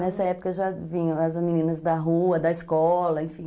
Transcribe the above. Nessa época já vinham as meninas da rua, da escola, enfim.